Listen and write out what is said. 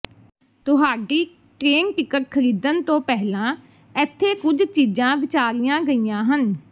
ਤੁਹਾਡੀ train ticket ਖਰੀਦਣ ਤੋਂ ਪਹਿਲਾਂ ਇੱਥੇ ਕੁਝ ਚੀਜ਼ਾਂ ਵਿਚਾਰੀਆਂ ਗਈਆਂ ਹਨ